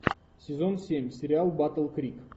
сезон семь сериал батл крик